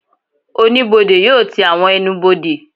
Oníbodè yóò ti àwọn ẹnubodè